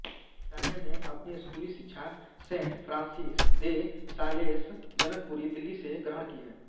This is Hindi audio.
तान्या ने अपनी स्कूली शिक्षा saint Francis de Sales Janakpuri Delhi से ग्रहण की है